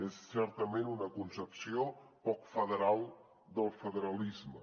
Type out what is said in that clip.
és certament una concepció poc federal del federalisme